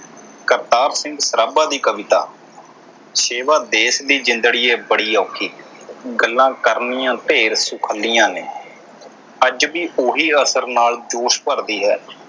ਕਰਤਾਰ ਸਿੰਘ ਸਰਾਭਾ ਦੀ ਕਵਿਤਾ ਸੇਵਾ ਦੇਸ਼ ਦੀ ਜਿੰਦੜੀਏ ਬੜੀ ਔਖੀ ਗੱਲਾਂ ਕਰਨੀਆਂ ਢੇਰ ਸੁਖੱਲੀਆਂ ਨੇ ਅੱਜ ਵੀ ਉਹੀ ਅਸਰ ਨਾਲ ਜੋਸ਼ ਭਰਦੀ ਹੈ।